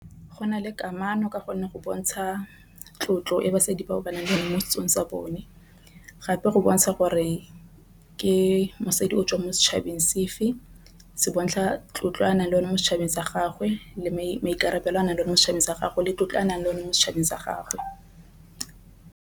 Go nale kamano ka gonne go bontsha tlotlo e basadi ba ba nang le one mo setsong sa bone. Gape go bontsha gore ke mosadi o tswang mo setšhabeng sefe se bontsha tlotlo anang le one mo setšhabeng sa gagwe le maikarabelo a nang le mo setšhabeng sa gagwe le tlotlo a nang le one mo setšhabeng sa gagwe.